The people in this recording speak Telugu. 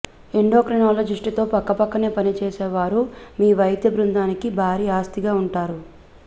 ఎండోక్రినాలజిస్ట్తో పక్కపక్కనే పనిచేసే వారు మీ వైద్య బృందానికి భారీ ఆస్తిగా ఉంటారు